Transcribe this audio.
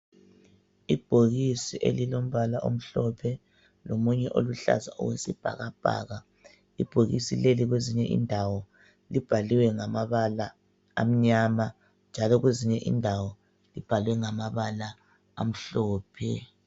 Ibhokisi elilombala omhlophe, lomunye oluhlaza, okwesibhakabhaka. Ibhokisi leli kwezinye indawo, libhaliwe ngamabala amnyama, njalo kwezinye indawo libhalwe ngamabala amhlophe.